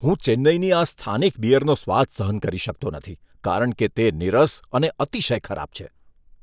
હું ચેન્નઈની આ સ્થાનિક બીયરનો સ્વાદ સહન કરી શકતો નથી કારણ કે તે નિરસ અને અતિશય ખરાબ છે.